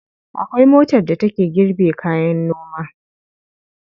Akwai motar da take girbe kayan noma.